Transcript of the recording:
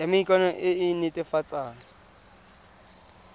ya maikano e e netefatsang